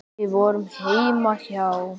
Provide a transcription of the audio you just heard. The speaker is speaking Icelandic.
Við vorum heima hjá